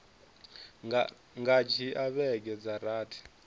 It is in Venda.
nga dzhia vhege dza rathi